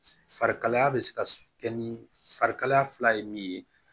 Farikalaya bɛ se ka kɛ ni fari kalaya fila ye min ye